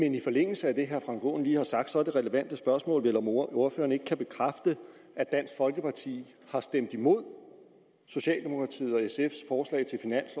men i forlængelse af det herre frank aaen lige har sagt er det relevante spørgsmål vel om ordføreren ikke kan bekræfte at dansk folkeparti har stemt imod socialdemokratiet